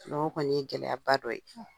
o kɔni ye gɛlɛyaba dɔ ye.